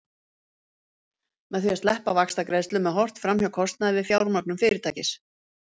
með því að sleppa vaxtagreiðslum er horft fram hjá kostnaði við fjármögnun fyrirtækis